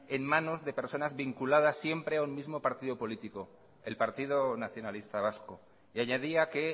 en manos de personas vinculadas siempre o en el mismo partido político el partido nacionalista vasco y añadía que